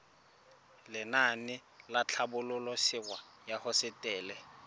lenaane la tlhabololosewa ya hosetele